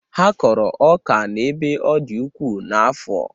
Ha kọrọ ọka n'ebe ọ dị ukwuu n'afọ.